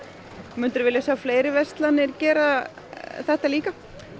myndirðu vilja sjá fleiri verslanir gera þetta líka